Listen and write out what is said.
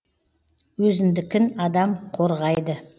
өзіндікін адам қорғайды